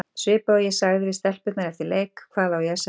Svipað og ég sagði við stelpurnar eftir leik, hvað á ég að segja?